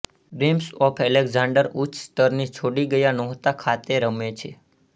dreams of Alexander ઉચ્ચ સ્તરની છોડી ગયા નહોતા ખાતે રમે છે